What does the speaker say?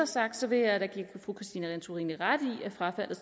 sagt vil jeg da give fru christine antorini ret i at frafaldet